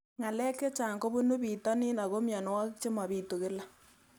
Ng'alek chechang' kopunu pitonin ako mianwogik che mapitu kila